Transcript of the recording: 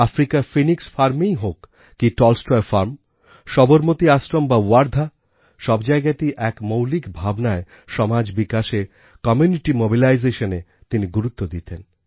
আফ্রিকার ফিনিক্স Farmএই হোক কি টলস্টয় ফার্ম সবরমতী আশ্রম বা ওয়ার্ধা সব জায়গাতেই এক মৌলিক ভাবনায় সমাজ বিকাশে কমিউনিটি mobilisationএ তিনি গুরুত্ব দিতেন